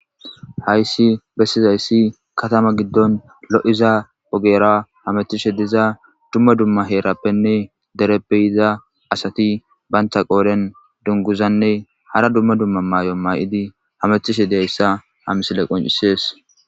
hayssi bessizayssi katama giddon lo7iza ogera hamethishe diza dumma dumma heerappenne derepbeyiza asati baynta qooren dunguzanne hara dumma dumma maay7o ma7idi hamethishe deyssa ha misile qoncisees